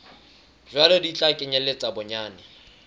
jwalo di tla kenyeletsa bonyane